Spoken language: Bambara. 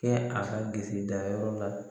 Kɛ a ka bisidanyɔrɔ la